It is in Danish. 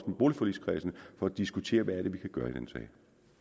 med boligforligskredsen for at diskutere hvad det er vi kan gøre i den sag